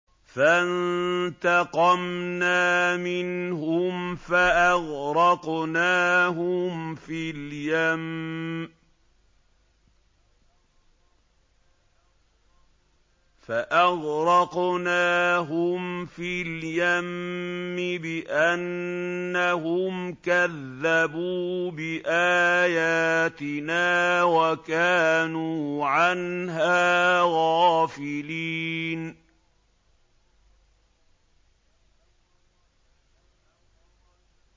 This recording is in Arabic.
فَانتَقَمْنَا مِنْهُمْ فَأَغْرَقْنَاهُمْ فِي الْيَمِّ بِأَنَّهُمْ كَذَّبُوا بِآيَاتِنَا وَكَانُوا عَنْهَا غَافِلِينَ